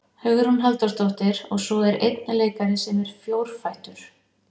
Hugrún Halldórsdóttir: Og svo er einn leikari sem er fjórfættur?